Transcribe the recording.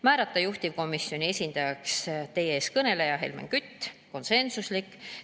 Määrata juhtivkomisjoni esindajaks teie ees kõneleja Helmen Kütt, see oli konsensuslik.